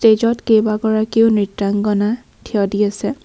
Stage ত কেইবাগৰাকীও নৃত্যাংগনা থিয় দি আছে।